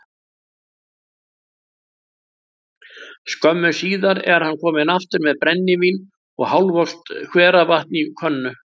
Skömmu síðar er hann kominn aftur með brennivín og hálfvolgt hveravatn í könnu.